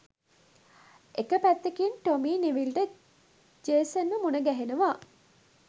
එක පැත්තකින් Tom Neville ට ජේසන්ව මුණගැහෙනවා